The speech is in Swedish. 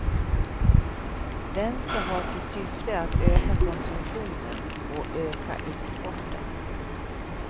Den ska ha till syfte att öka konsumtionen och öka exporten.